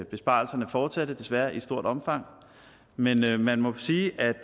besparelserne fortsatte desværre i stort omfang men man må sige at